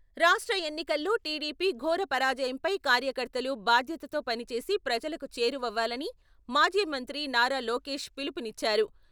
రాష్ట్ర ఎన్నికల్లో టీడీపీ ఘోరపరాజయంపై కార్యకర్తలు బాధ్యతతో పనిచేసి ప్రజలకు చేరువవ్వాలని మాజీ మంత్రి నారా లోకేష్ పిలుపునిచ్చారు.